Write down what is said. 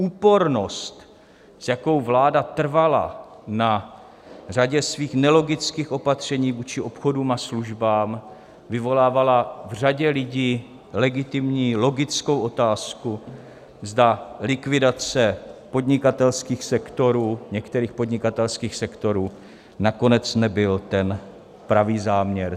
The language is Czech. Úpornost, s jakou vláda trvala na řadě svých nelogických opatření vůči obchodům a službám, vyvolávala v řadě lidí legitimní logickou otázku, zda likvidace podnikatelských sektorů, některých podnikatelských sektorů, nakonec nebyl ten pravý záměr.